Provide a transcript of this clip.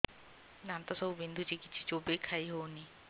ଦାନ୍ତ ସବୁ ବିନ୍ଧୁଛି କିଛି ଚୋବେଇ ଖାଇ ହଉନି